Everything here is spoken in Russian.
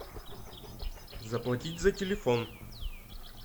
заплатить за телефон